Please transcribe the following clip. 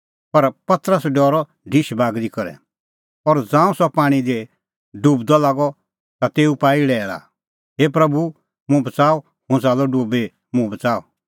पर पतरस डरअ ढिश बागरी करै और ज़ांऊं सह पाणीं दी डुबदअ लागअ ता तेऊ पाई लैल़ा हे प्रभू मुंह बच़ाऊ हुंह च़ाल्लअ डुबी मुंह बच़ाऊ